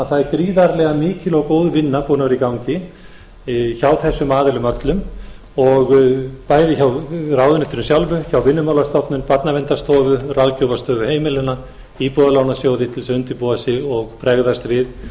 að það er gríðarlega mikil og góð vinna búin að vera í gangi hjá þessum aðilum öllum bæði hjá ráðuneytinu sjálfu hjá vinnumálastofnun barnaverndarstofu ráðgjafarstofu heimilanna íbúðalánasjóði til þess að undirbúa sig og bregðast við